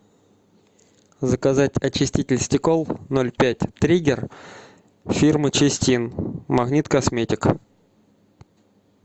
заказать очиститель стекол ноль пять триггер фирмы чистин магнит косметик